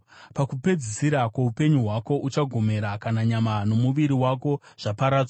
Pakupedzisira kwoupenyu hwako uchagomera, kana nyama nomuviri wako zvaparadzwa.